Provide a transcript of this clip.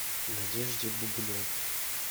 надежде бубновой